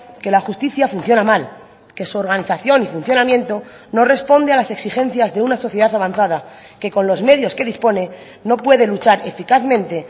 que la justicia funciona mal que su organización y funcionamiento no responde a las exigencias de una sociedad avanzada que con los medios que dispone no puede luchar eficazmente